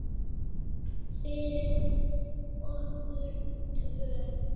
Fyrir okkur tvö.